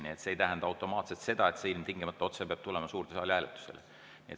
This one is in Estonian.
Nii et see ei tähenda automaatselt seda, et see ilmtingimata peab tulema otse suurde saali hääletusele.